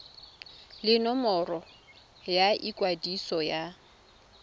le nomoro ya ikwadiso ya